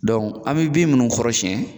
an bɛ bin minnu kɔrɔsiyɛn